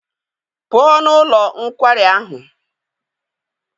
Pụọ n'ụlọ nkwari ahụ!